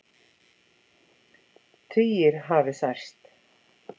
Tugir hafi særst